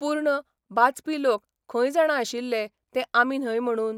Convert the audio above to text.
पूर्ण बाचपी लोक खंय जाणा आशिल्ले ते आमी न्हय म्हणून?